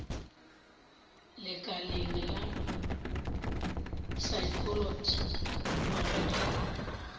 lekaleng la saekholot nywaga ke